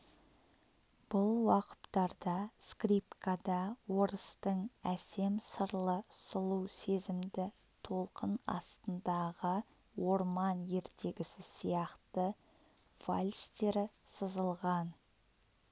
бұл уақыптарда скрипкада орыстың әсем сырлы сұлу сезімді толқын астындағы орман ертегісі сияқты вальстері сызылған